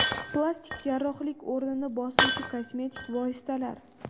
Plastik jarrohlik o‘rnini bosuvchi kosmetik vositalar.